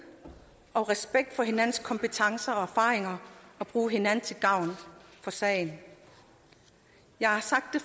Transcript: og respekt for hinandens kompetencer og erfaringer og bruge hinanden til gavn for sagen jeg har sagt det